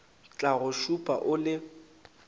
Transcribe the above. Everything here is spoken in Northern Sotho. tla go šupa o le